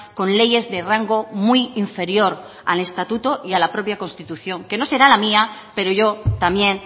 con leyes de rango muy inferior al estatuto y a la propia constitución que no será la mía pero yo también